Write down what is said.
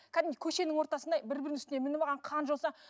кәдімгідей көшенің ортасында бір бірінің үстіне мініп алған қан жоса